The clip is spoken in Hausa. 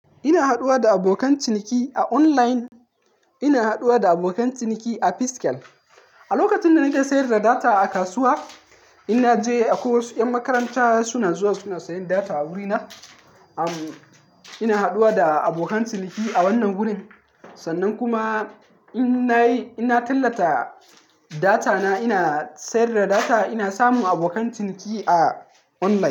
Ina haɗuwa da abokan ciniki a online, ina haɗuwa da abokan ciniki a physical. A lokacin da nake sayar da data a kasuwa, inna je akwai wasu ƴan makaranta suna zuwa suna sayen data a wurina. Am ina haɗuwa da abokan ciniki a wannan wurin, sannan kuma in nayi, ina tallata, data na ina sayar da data ina samun abokan ciniki a online.